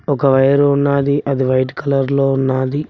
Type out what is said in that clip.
ఒక వైర్ ఉన్నాది అది వైట్ కలర్ లో ఉన్నాది.